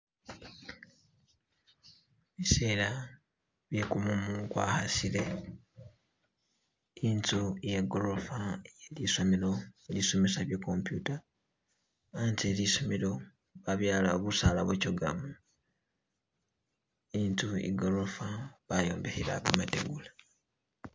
Bisela bye gumumu gwa khasile intsu ye gorofa ye lisomelo lisomesa bye computer hatse helisomelo babyalawo busaala bo chogamu, intsu igorofa bayombekhela mategula.